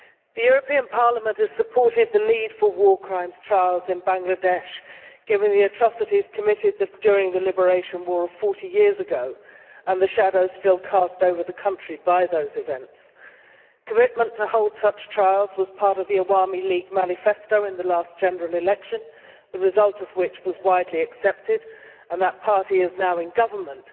The European Parliament has supported the need for war crimes trials in Bangladesh, given the atrocities committed during the liberation war 40 years ago and the shadows still cast over the country by those events. Commitment to hold such trials was part of the Awami League manifesto in the last general election, the result of which was widely accepted, and that party is now in government.